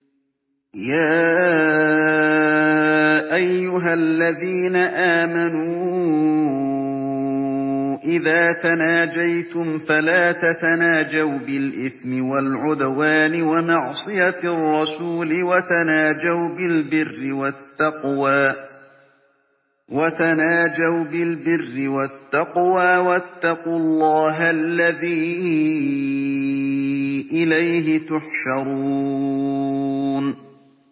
يَا أَيُّهَا الَّذِينَ آمَنُوا إِذَا تَنَاجَيْتُمْ فَلَا تَتَنَاجَوْا بِالْإِثْمِ وَالْعُدْوَانِ وَمَعْصِيَتِ الرَّسُولِ وَتَنَاجَوْا بِالْبِرِّ وَالتَّقْوَىٰ ۖ وَاتَّقُوا اللَّهَ الَّذِي إِلَيْهِ تُحْشَرُونَ